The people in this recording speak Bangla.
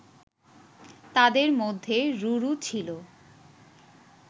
তাদের মধ্যে রুরু ছিল